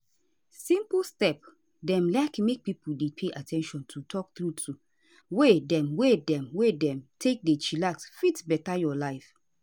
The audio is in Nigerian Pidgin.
simple step dem like make pipo dey pay at ten tion to talk trueto way dem wey dem wey dem take dey chillax fit beta your life